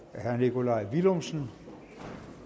herre nikolaj villumsen